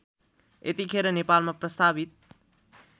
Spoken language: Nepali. यतिखेर नेपालमा प्रस्तावित